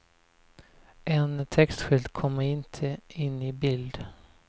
En textskylt kommer inte in i bild.